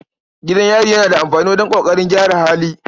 Gidan yari yana da amfani wajen ƙoƙarin gyara hali.